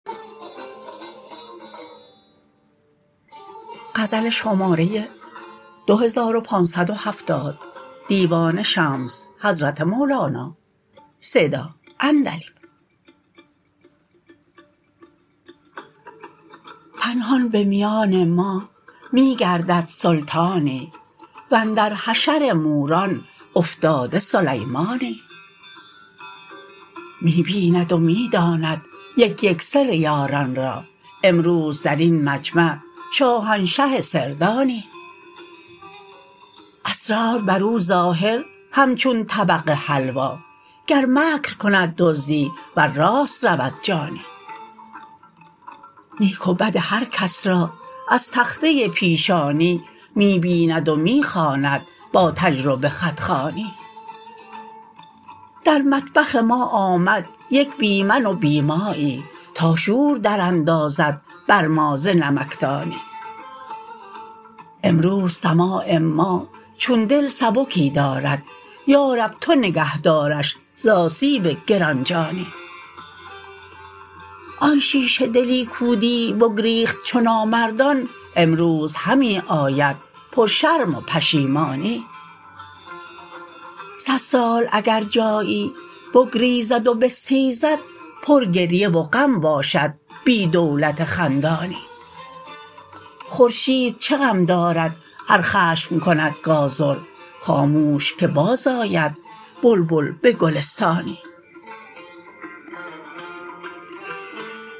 پنهان به میان ما می گردد سلطانی و اندر حشر موران افتاده سلیمانی می بیند و می داند یک یک سر یاران را امروز در این مجمع شاهنشه سردانی اسرار بر او ظاهر همچون طبق حلوا گر مکر کند دزدی ور راست رود جانی نیک و بد هر کس را از تخته پیشانی می بیند و می خواند با تجربه خط خوانی در مطبخ ما آمد یک بی من و بی مایی تا شور دراندازد بر ما ز نمکدانی امروز سماع ما چون دل سبکی دارد یا رب تو نگهدارش ز آسیب گران جانی آن شیشه دلی کو دی بگریخت چو نامردان امروز همی آید پرشرم و پشیمانی صد سال اگر جایی بگریزد و بستیزد پرگریه و غم باشد بی دولت خندانی خورشید چه غم دارد ار خشم کند گازر خاموش که بازآید بلبل به گلستانی